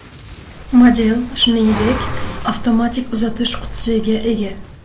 Model, shuningdek, avtomatik uzatish qutisiga ega.